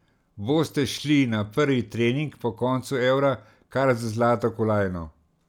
Boste šli na prvi trening po koncu eura kar z zlato kolajno?